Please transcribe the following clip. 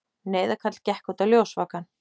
Neyðarkall gekk út á ljósvakann.